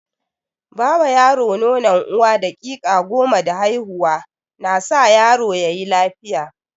Ba yaro nonon uwa daƙiƙa goma da haihuwa na sa yaro yayi lafiya.